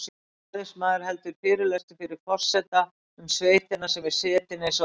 Ræðismaður heldur fyrirlestur fyrir forseta um sveitina sem er setin eins og